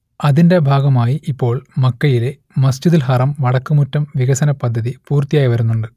അതിന്റെ ഭാഗമായി ഇപ്പോൾ മക്കയിലെ മസ്ജിദുൽ ഹറം വടക്ക് മുറ്റം വികസനപദ്ധതി പൂർത്തിയായി വരുന്നുണ്ട്